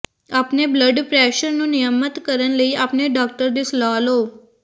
ਆਪਣੇ blood pressure ਨੂੰ ਨਿਯਮਤ ਕਰਨ ਲਈ ਆਪਣੇ ਡਾਕਟਰ ਦੀ ਸਲਾਹ ਲਓ